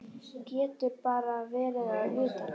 Getur bara verið að utan.